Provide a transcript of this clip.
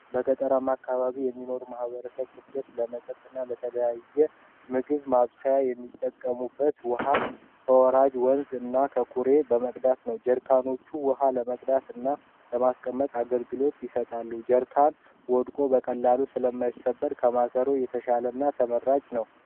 በገጠራማ አካባቢዎች የሚኖሩ የማህበረሰብ ክፍሎች ለመጠጥ እና ለተለያዩ የምግብ ማብሰያ የሚጠቀሙበት ውሃ ከወራጅ ወንዞች እና ከኩሬዎች በመቅዳት ነው። ጀሪካኖች ውሃ ለመቅዳት እና ለማስቀመጥ አገልግሎት ይሰጣሉ ።ጀሪካን ወድቅ በቀላሉ ስለማይሰበር ከማሰሮ የተሻለ እና ተመራጭ ነው።